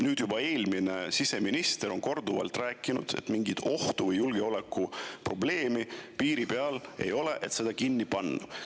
Nüüd juba eelmine siseminister on korduvalt rääkinud, et mingit ohtu, julgeolekuprobleemi piiri peal ei ole, et seda kinni panna.